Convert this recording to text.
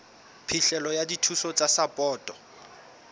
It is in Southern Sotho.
phihlelo ya dithuso tsa sapoto